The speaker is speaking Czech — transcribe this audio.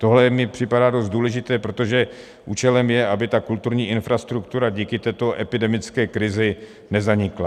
Tohle mi připadá dost důležité, protože účelem je, aby ta kulturní infrastruktura díky této epidemické krizi nezanikla.